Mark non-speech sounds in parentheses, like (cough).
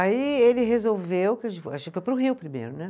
Aí ele resolveu, (unintelligible) a gente foi para o Rio primeiro, né?